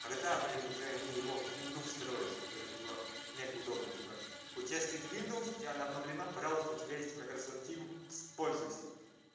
когда блин уже они его в винду встроят чтобы это было мега удобно типа у тебя стоит виндовс у тебя она обновлена пожалуйста у тебя есть майкрософт тим пользуйся